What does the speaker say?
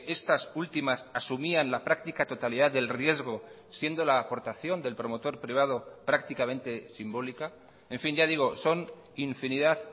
estas últimas asumían la practica totalidad del riesgo siendo la aportación del promotor privado prácticamente simbólica en fin ya digo son infinidad